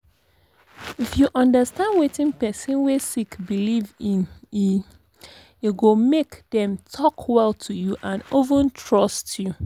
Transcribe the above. if you understand wetin person wey sick believe in e e go make them talk well to you and even trust you.